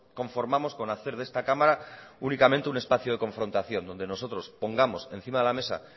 conformamos con hacer de esta cámara únicamente un espacio de confrontación donde nosotros pongamos encima de la mesa